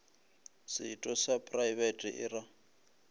setho sa praebete e ra